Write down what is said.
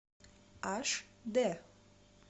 аш дэ